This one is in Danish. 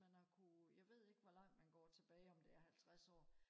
man har kunne jeg ved ikke hvor langt man går tilbage om det er halvtreds år